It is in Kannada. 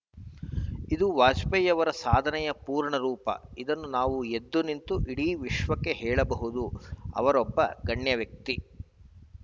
ಇದು ವಾಜಪೇಯಿಯವರ ಸಾಧನೆಯ ಪೂರ್ಣರೂಪ ಇದನ್ನು ನಾವು ಎದ್ದು ನಿಂತು ಇಡೀ ವಿಶ್ವಕ್ಕೆ ಹೇಳಬಹುದು ಅವರೊಬ್ಬ ಗಣ್ಯವ್ಯಕ್ತಿ